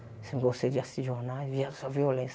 Eu sempre gostei de assistir jornal, via só violência.